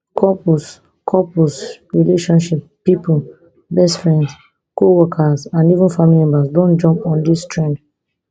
couples couples relationship pipo best friends coworkers and even family members don jump on dis trend